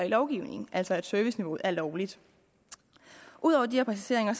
lovgivningen altså at serviceniveauet er lovligt ud over de her præciseringer